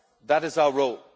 That is our